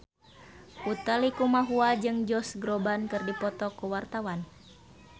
Utha Likumahua jeung Josh Groban keur dipoto ku wartawan